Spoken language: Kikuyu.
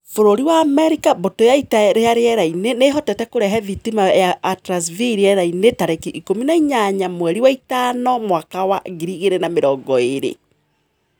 Bũrũri wa Amerika Mbũtũ ya ita rĩa rĩera-inĩ nĩ ĩhotete kũrehe thitima ya Atlas V rĩera-inĩ tarĩki ikũmi na inyanya mweri wa ĩtano mwaka wa ngiri igĩrĩ na mĩrongo irĩ